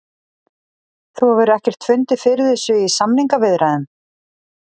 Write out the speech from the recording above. Þú hefur ekkert fundið fyrir þessu í samningaviðræðum?